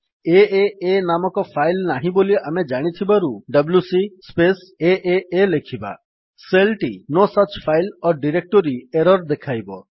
ଏଏ ନାମକ ଫାଇଲ୍ ନାହିଁ ବୋଲି ଆମେ ଜାଣିଥିବାରୁ ଡବ୍ଲ୍ୟୁସି ସ୍ପେସ୍ ଏଏ ଲେଖିବା ସେଲ୍ ଟି no such file or directory error ଦେଖାଇବ